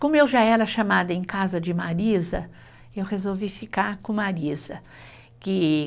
Como eu já era chamada em casa de Marisa, eu resolvi ficar com Marisa, que